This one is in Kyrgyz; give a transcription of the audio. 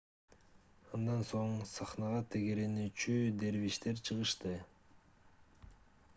андан соң сахнага тегеренүүчү дервиштер чыгышты